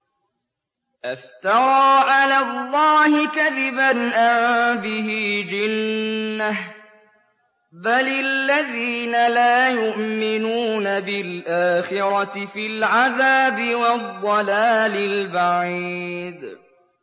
أَفْتَرَىٰ عَلَى اللَّهِ كَذِبًا أَم بِهِ جِنَّةٌ ۗ بَلِ الَّذِينَ لَا يُؤْمِنُونَ بِالْآخِرَةِ فِي الْعَذَابِ وَالضَّلَالِ الْبَعِيدِ